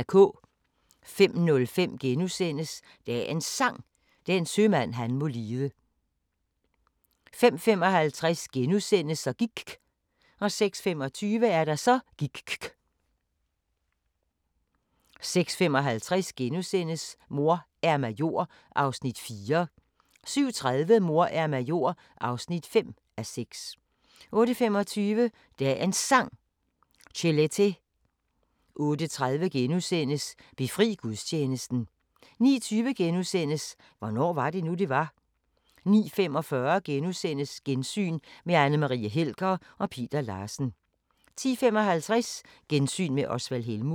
05:05: Dagens Sang: Den sømand han må lide * 05:55: Så gIKK * 06:25: Så gIKK' 06:55: Mor er major (4:6)* 07:30: Mor er major (5:6) 08:25: Dagens Sang: Chelete 08:30: Befri gudstjenesten * 09:20: Hvornår var det nu, det var? * 09:45: Gensyn med Anne Marie Helger og Peter Larsen * 10:55: Gensyn med Osvald Helmuth